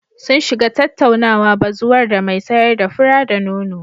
Sun shiga tattaunawa bazuwar da mai sayar da fura-da-nono.